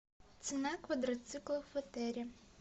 цена квадроциклов в отеле